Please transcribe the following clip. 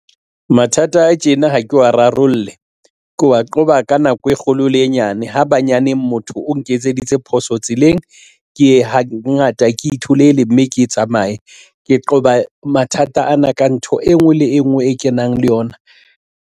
Mathata a tjena ha ke wa rarolle ke wa qoba ka nako e kgolo le e nyane ha banyane motho o nketseditse phoso tseleng ke hangata ke itholele mme ke tsamaye ke qoba mathata ana ka ntho e nngwe le e nngwe e kenang le yona.